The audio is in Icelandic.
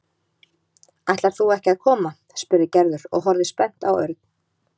Ætlar þú ekki að koma? spurði Gerður og horfði spennt á Örn.